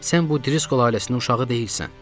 Sən bu Driskol ailəsinin uşağı deyilsən.